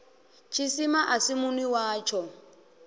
tshisima a si munwi watsho